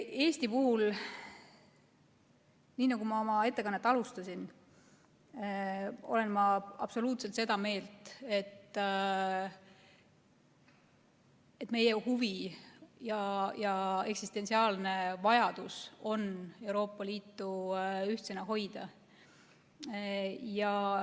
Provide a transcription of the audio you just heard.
Eesti puhul, nii nagu ma oma ettekannet alustades ütlesin, olen ma absoluutselt seda meelt, et meie huvi ja eksistentsiaalne vajadus on Euroopa Liitu ühtsena hoida.